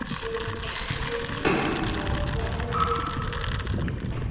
en skjótt skipast veður í lofti!